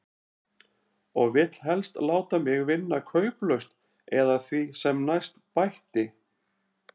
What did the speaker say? Og vill helst láta mig vinna kauplaust eða því sem næst, bætti